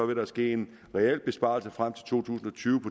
der ske en reel besparelse frem til to tusind og tyve